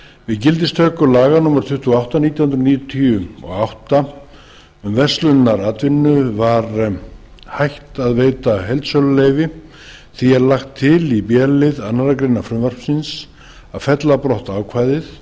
við gildistöku laga númer tuttugu og átta nítján hundruð níutíu og átta um verslunaratvinnu var hætt að veita heildsöluleyfi því er lagt til í b lið annarrar greinar frumvarpsins að fella brott ákvæðið